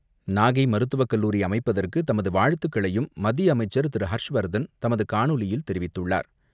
நாகை மருத்துவக் கல்லூரி அமைப்பதற்கு தமது வாழ்த்துக்களையும் மத்திய அமைச்சர் திரு ஹர்ஷ்வர்தன் தமது காணொலியில் தெரிவித்துள்ளார்.